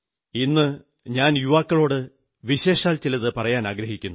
ഇന്നു ഞാൻ യുവാക്കളോടു വിശേഷാൽ ചിലതു പറയാനാഗ്രഹിക്കുന്നു